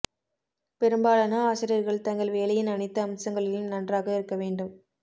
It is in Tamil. பெரும்பாலான ஆசிரியர்கள் தங்கள் வேலையின் அனைத்து அம்சங்களிலும் நன்றாக இருக்க வேண்டும்